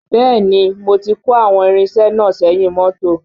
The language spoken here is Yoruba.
Bẹ́ẹ̀ni mo ti kó àwọn irinṣẹ́ náà sẹ́yìn mọ́tò